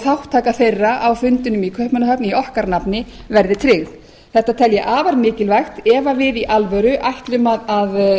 þátttaka þeirra á fundinum í kaupmannahöfn í okkar nafni verði tryggð þetta tel ég afar mikilvægt ef við í alvöru ætlum að